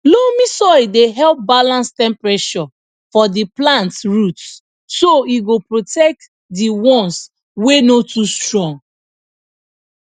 loamy soil dey help balance temperature for di plant roots so e go protect di once wey no too strong